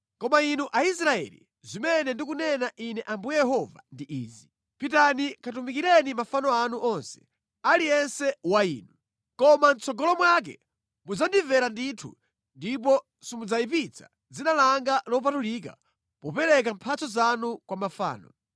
“ ‘Koma inu Aisraeli, zimene ndikunena Ine Ambuye Yehova ndi izi: Pitani katumikireni mafano anu onse, aliyense wa inu! Koma mʼtsogolo mwake mudzandimvera ndithu ndipo simudzayipitsa dzina langa lopatulika popereka mphatso zanu kwa mafano.